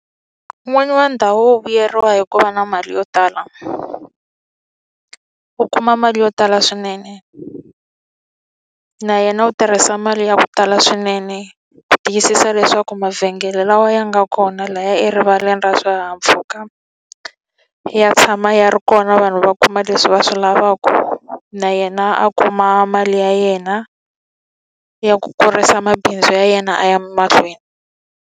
N'winyi wa ndhawu wo vuyeriwa hi ku va na mali yo tala. U u kuma mali yo tala swinene. Na yena u tirhisa mali ya ku tala swinene ku tiyisisa leswaku mavhengele lawa ya nga na kona lahaya erivaleni ra swihahampfhuka, ya tshama ya ri kona vanhu va kuma leswi va swi lavaka. Na yena a kuma mali ya yena ya ku kurisa mabindzu ya yena a ya mahlweni.